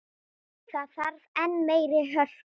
Það þarf enn meiri hörku!